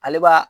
Ale b'a